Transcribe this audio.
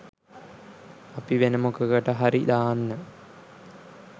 අපි වෙන මොකකට හරි දාන්න